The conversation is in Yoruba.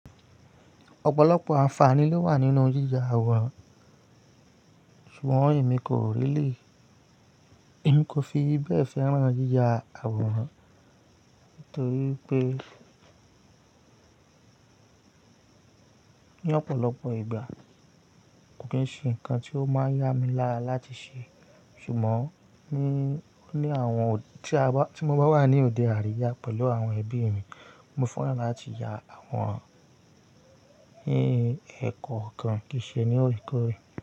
Ọ̀pọ̀lọpọ̀ àǹfààní ló wà nínú yíya àwòrán ṣùgbọ́n èmi kò rí lè. N kò fi bẹ́ẹ̀ fẹ́ràn yíya àwòrán torí pé ní ọ̀pọ̀lọpọ̀ ìgbà kò kí ń ṣe nǹkan tí ó máa ń yá mi lára láti ṣe. Ṣùgbọ́n ní àwọn ọ̀ tí mo bá wà ní òde àríyá pẹ̀lú àwọn ẹbí mi, mo fẹ́ràn láti ya àwọn ẹ́ ní ẹ̀kọ́okan kì í ṣe ní òkè òkè.